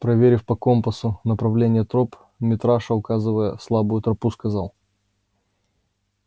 проверив по компасу направление троп митраша указывая слабую тропу сказал